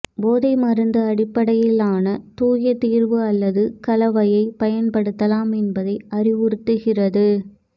போதை மருந்து அடிப்படையிலான தூய தீர்வு அல்லது கலவையை பயன்படுத்தலாம் என்பதை அறிவுறுத்துகிறது